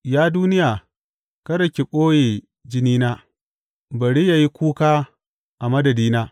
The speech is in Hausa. Ya duniya, kada ki ɓoye jinina; bari yă yi kuka a madadina!